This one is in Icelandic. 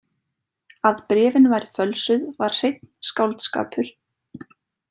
Að bréfin væru fölsuð var hreinn skáldskapur.